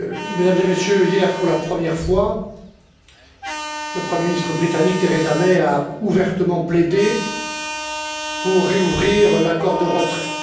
Mesdames et Messieurs, hier, pour la première fois, le Premier ministre britannique, Theresa May, a ouvertement plaidé pour rouvrir l'accord de retrait.